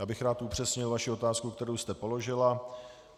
Já bych rád upřesnil vaši otázku, kterou jste položila.